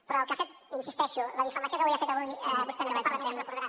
però hi insisteixo la difamació que ha fet avui vostè en aquest parlament es recordarà